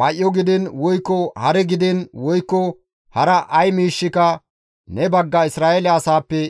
May7o gidiin woykko hare gidiin woykko hara ay miishshika ne bagga Isra7eele asaappe